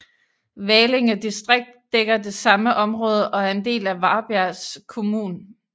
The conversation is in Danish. Valinge distrikt dækker det samme område og er en del af Varbergs kommun